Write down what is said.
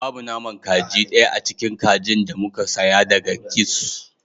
Babu naman kaji daya a cikin kajin da muka saya daga kiosk